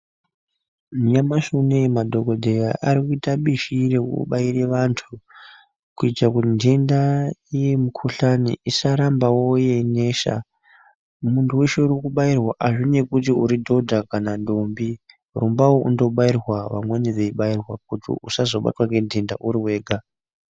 Nyamashi unoyi madhokodheya arikuita bishi rekubaire vantu kuitire kuti nhenda yemukhuhlani isarambawo yeinesa ,muntu weshe urikubairwa azvineyi kuti uridhodha kana dhombi rumbawo unobairwa vamweni veibairwa kuti usazobatwa ngenhenda uriwega.